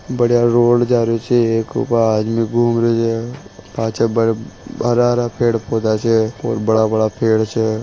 बडिया रोड जा रही छे एक ओ आदमी घूम रहियो पाछा हरा हरा पड़े पौधे छे और बड़ा बड़ा पेड़ छे।